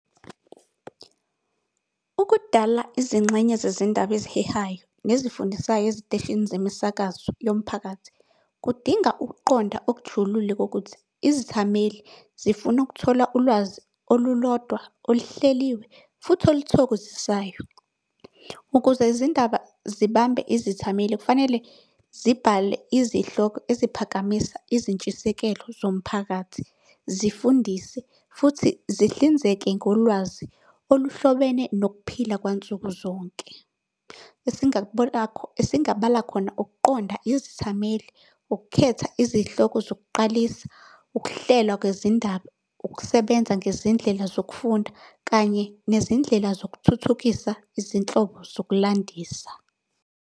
Ukudala izingxenye zezindaba ezihehayo nezifundisayo eziteshini zemisakazo yomphakathi. Kudinga ukuqonda okujulile kokuthi izithameli zifuna ukuthola ulwazi olulodwa oluhleliwe, futhi oluthokozisayo. Ukuze izindaba zibambe izithameli kufanele zibhale izihloko eziphakamisa izintshisekelo zomphakathi, zifundise, futhi zihlinzeke ngolwazi oluhlobene nokuphila kwansuku zonke. Esingabala khona, ukuqonda izithameli, ukukhetha izihloko zokuqalisa, ukuhlelwa kwezindaba, ukusebenza ngezindlela zokufunda, kanye nezindlela zokuthuthukisa izinhlobo zokulandisa.